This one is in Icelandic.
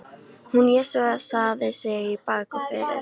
Hún jesúsaði sig í bak og fyrir.